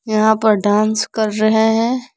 यहां पर डांस कर रहे हैं।